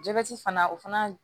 Jabɛti fana o fana